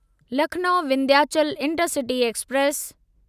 Lucknow Vindhyachal intercity express